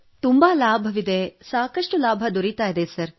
ತುಂಬಾ ಲಾಭವಿದೆ ಸಾಕಷ್ಟು ಲಾಭ ದೊರೆಯುತ್ತಿದೆ ಸರ್